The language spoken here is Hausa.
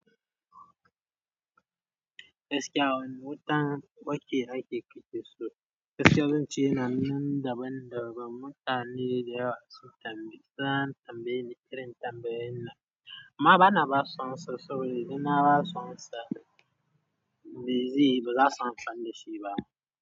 Gaskiya a wanne wuta wake ake kile so? Gaskiya zan ci yana nan daban-daban mutane da yawa su tam, za tambayeni irin tambayoyin nan, amma ba na basu amsa saboda in na basu amsa din me zeyi ba za su amfani da shi ba.